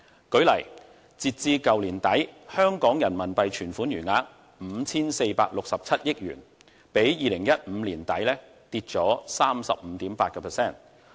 舉例而言，截至去年年底，香港人民幣存款餘額為 5,467 億元，比2015年年底下跌 35.8%。